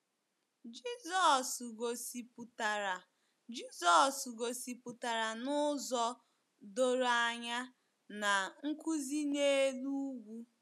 Jizọs gosipụtara Jizọs gosipụtara n’ụzọ doro anya na Nkuzi N'elu Ugwu.